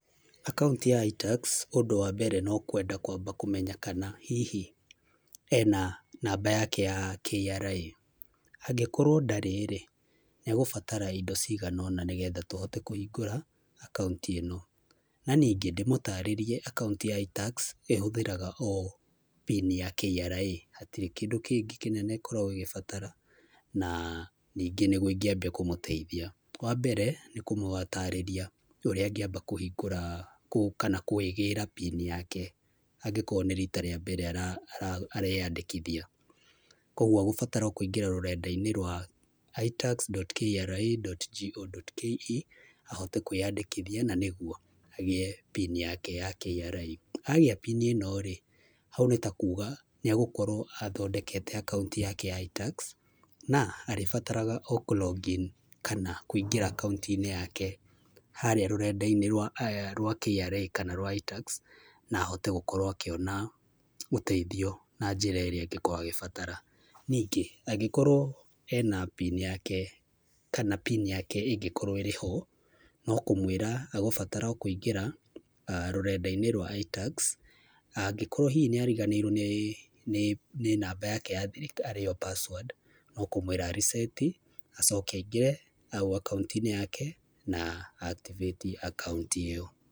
Akaunti ya itax ũndũ wa mbere, no kwenda kwamba kũmenya kana hihi ena namba yake ya KRA, angĩkorwo ndarĩ-rĩ nĩegũbatara indo cigana ũna nĩgetha ahote kũhingũra akaunti ĩno. Na ningĩ ndĩmũtarĩrie akaunti ta itax ĩhũthĩraga o pini ya KRA, hatirĩ kĩndũ kĩngĩ kĩnene ĩkoragwo ĩgĩbatara, na ningĩ nĩguo ĩngĩambia kũmũteithia. Wambere nĩ kũmũtarĩria ũrĩa angĩamba kũhingũra kũu kana kwĩgĩra pini yake angĩkorwo nĩ rita rĩa mbere areyandĩkithia. Kuoguo egũbatara o kũingĩra rũrenda-inĩ rwa itax dot kra dot go dot ke ahote kwĩyandĩkithia na nĩguo agĩe pini yake ya KRA. Agĩa pini ĩno-rĩ, hau nĩtakuga, nĩegũkorwo athondekete akaunti yake ya itax, na arĩbataraga o kũlogin kana kũingĩra akaunti-inĩ yake harĩa rũrenda-inĩ rwa rwa kra kana rwa itax, na ahote gũkorwo akĩona ũteithio na njĩra ĩrĩa angĩkorwo agĩbatara. Ningĩ angĩkorwo ena pini yake kana pini yake ĩngĩkorwo ĩrĩho, no kũmwĩra egũbatara o kũingĩra rũrenda-inĩ rwa itax. Angĩkorwo hihi nĩariganĩirwo nĩ namba yake ya thiri arĩ yo password, no kũmwĩra a reset hau akaunti-inĩ yake na a activate akaunti ĩyo.